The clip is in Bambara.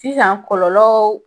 Sisan kɔlɔlɔ